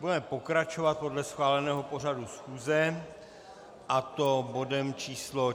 Budeme pokračovat podle schváleného pořadu schůze, a to bodem číslo